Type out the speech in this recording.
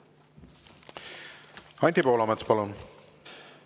Anti Poolamets, palun!